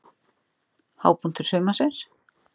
Hápunktur sumarsins?